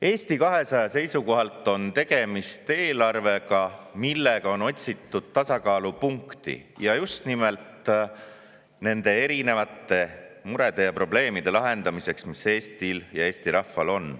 Eesti 200 seisukohalt on tegemist eelarvega, milles on otsitud tasakaalupunkti just nimelt nende erinevate murede ja probleemide lahendamiseks, mis Eestil ja Eesti rahval on.